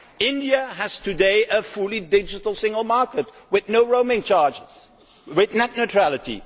India has today a fully digital single market with no roaming charges with net neutrality.